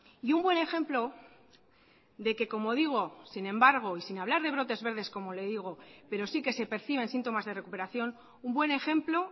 y un buen ejemplo de que como digo sin embargo y sin hablar de brotes verdes como le digo pero sí que se perciben síntomas de recuperación un buen ejemplo